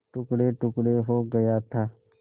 टुकड़ेटुकड़े हो गया था